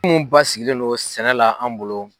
Munnu basigilen no sɛnɛ la an bolo